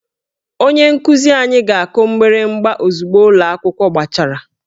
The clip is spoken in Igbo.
Onye nkuzi anyị ga-akụ mgbịrịgba ozugbo ụlọ akwụkwọ gbachara